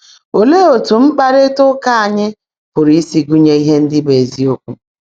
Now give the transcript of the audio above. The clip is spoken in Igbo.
Óleé ótú mkpárrị́tá úkà ányị́ pụ́rụ́ ísi gụ́nyèé íhe ndị́ bụ́ ézíokwú?